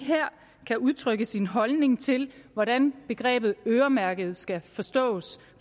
kan udtrykke sin holdning til hvordan begrebet øremærket skal forstås